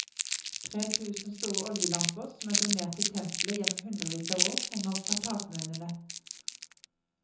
Tre tusen store oljelamper, som er donert til tempelet gjennom hundrevis av år, henger fra takmønene.